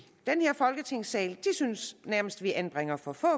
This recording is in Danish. folketingssalen synes nærmest vi anbringer for for